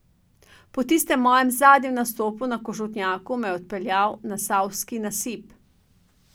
Po tistem mojem zadnjem nastopu na Košutnjaku me je odpeljal na Savski nasip.